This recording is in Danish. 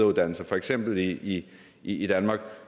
uddannelse for eksempel i i danmark